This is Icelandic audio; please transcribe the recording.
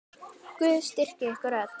Guð styrki ykkur öll.